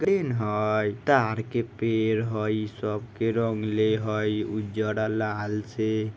दिन हई तार के पेड़ हई सब के रंगले हई उज्जर और लाल से---